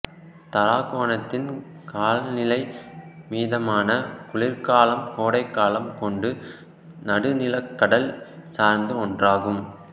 தாராகோணத்தின் காலநிலை மிதமான குளிர்காலமும் கோடைக்காலமும் கொண்டு நடுநிலக்கடல் சார்ந்த ஒன்றாகும்